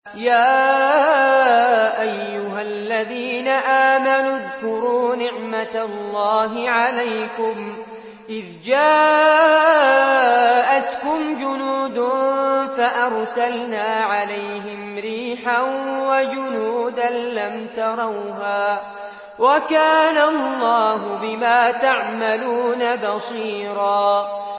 يَا أَيُّهَا الَّذِينَ آمَنُوا اذْكُرُوا نِعْمَةَ اللَّهِ عَلَيْكُمْ إِذْ جَاءَتْكُمْ جُنُودٌ فَأَرْسَلْنَا عَلَيْهِمْ رِيحًا وَجُنُودًا لَّمْ تَرَوْهَا ۚ وَكَانَ اللَّهُ بِمَا تَعْمَلُونَ بَصِيرًا